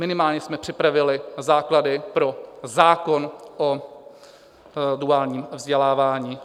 Minimálně jsme připravili základy pro zákon o duálním vzdělávání.